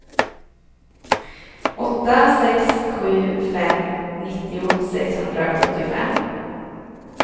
åtta sex sju fem nittio sexhundrasjuttiofem